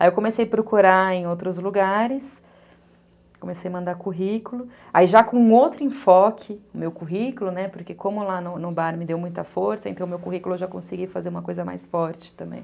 Aí eu comecei a procurar em outros lugares, comecei a mandar currículo, aí já com outro enfoque no meu currículo, né, porque como lá no bar me deu muita força, então no meu currículo eu já consegui fazer uma coisa mais forte também.